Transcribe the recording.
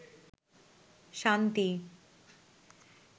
শান্তি